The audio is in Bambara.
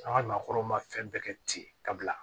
An ka maakɔrɔw ma fɛn bɛɛ kɛ ten ka bila